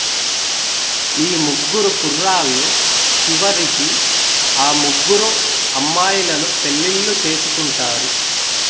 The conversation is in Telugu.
ఈ ముగ్గురు కుర్రాళ్ళు చివరికి ఆ ముగ్గురు అమ్మాయిలను పెళ్ళిళ్ళు చేసుకుంటారు